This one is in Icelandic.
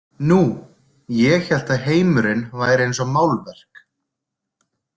Nú, ég hélt að heimurinn væri eins og málverk.